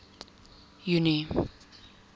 junie